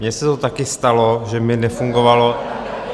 Mně se to taky stalo, že mi nefungovalo...